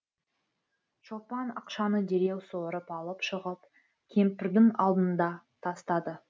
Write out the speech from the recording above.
шолпан ақшаны дереу суырып алып шығып кемпірдің алдына тастады